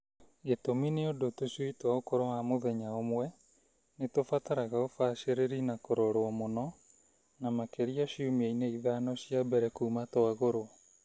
Gĩtũmi nĩ ũndũ tũcui twa ũkũrũ wa mũthenya ũmwe nĩ tũbataraga ũbacĩrĩri na kũroro mũno na makĩria ciumia-inĩ ithano cia mbere kuma twagũrwo.